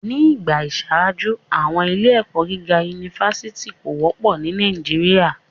Ni igba iṣaaju, awọn ile-ẹkọ giga unifásitì ko wọpọ ni Nàìjíríà